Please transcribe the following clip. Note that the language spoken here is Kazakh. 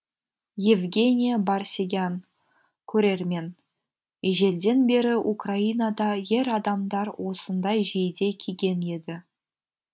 евгения барсегян көрермен ежелден бері украинада ер адамдар осындай жейде киген еді